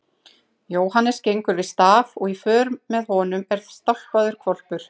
Jóhannes gengur við staf og í för með honum er stálpaður hvolpur.